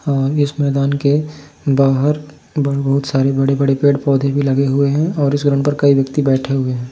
और इस मैदान के बाहर बहोत सारे बड़े बड़े पेड़ पौधे भी लगे हुए हैं | इस रूम पर कई व्यक्ति भी बैठे हुए हैं ।